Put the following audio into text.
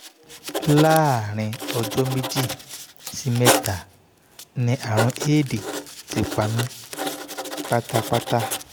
láàárín ọjọ́ méjì sí mẹ́ta ni àrùn éèdì ti pa mí pátápátá